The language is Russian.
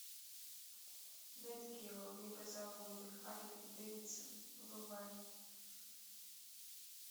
нат гео мегазаводы харлей дэвидсон врубай